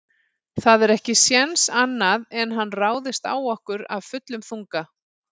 Það er ekki séns annað en hann ráðist á okkur af fullum þunga.